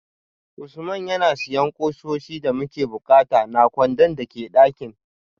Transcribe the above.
Usman yana siyan kusoshi da muke bukata na kwandon da ke dakin